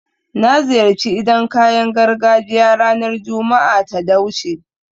Na ziyarci idan kayan gargajiya ranar Juma'a ta da wuce